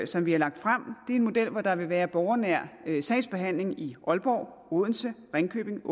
som vi har lagt frem er en model hvor der vil være borgernær sagsbehandling i aalborg odense ringkøbing